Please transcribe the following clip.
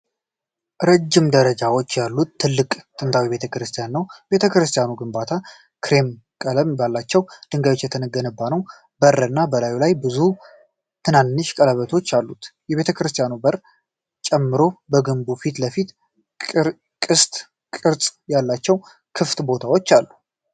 ረዥም ደረጃዎች ያሉት ትልቅ ጥንታዊ ቤተ ክርስቲያን ነው። የቤተክርስቲያኑ ግንባታ ክሬም ቀለም ባላቸው ድንጋዮች የተገነባ ነው። በር እና በላዩ ላይ ብዙ ትናንሽ ጉልላቶች አሉት። የቤተክርስቲያኑን በር ጨምሮ በግንቡ ፊት ለፊት ቅስት ቅርጽ ያላቸው ክፍት ቦታዎች አሉ።